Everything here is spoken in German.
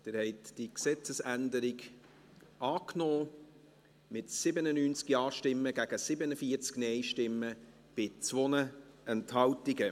Sie haben diese Gesetzesänderung angenommen, mit 97 Ja- gegen 47 Nein-Stimmen bei 2 Enthaltungen.